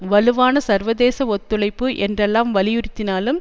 வலுவான சர்வதேச ஒத்துழைப்பு என்றெல்லாம் வலியுறுத்தினாலும்